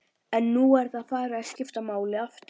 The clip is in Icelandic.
En nú er það farið að skipta máli aftur?